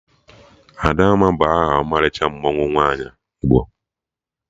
Adamma bụ aha ọmalịcha mmanwụ nwaanyị Igbo